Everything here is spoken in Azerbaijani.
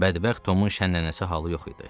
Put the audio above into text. Bədbəxt Tomun şənəlməsi halı yox idi.